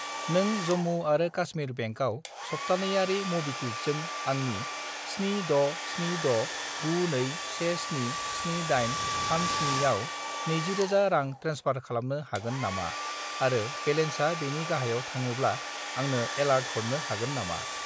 नों जम्मु आरो कास्मिर बेंकआव सप्तानैयारि मबिक्वुइकजों आंनि 767692177837 आव 20000 रां ट्रेन्सफार खालामनो हागोन नामा आरो बेलेन्सा बेनि गाहायाव थाङोब्ला आंनो एलार्ट हरनो हागोन नामा?